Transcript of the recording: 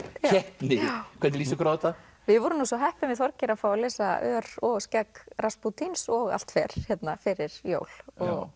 keppni hvernig líst ykkur á þetta við vorum svo heppin við Þorgeir að fá að lesa ör og skegg Raspútíns og allt fer hérna fyrir jól og